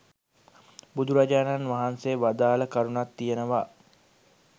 බුදුරජාණන් වහන්සේ වදාළ කරුණක් තියෙනවා.